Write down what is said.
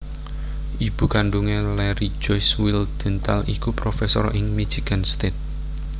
Ibu kandhungé Larry Joyce Wildhental iku profesor ing Michigan State